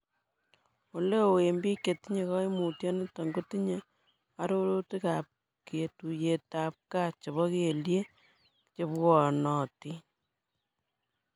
Oleo en biik chetinye koimutioniton kotinye ororutikab ketuyetab gaa chebo kelyek chebwonotin.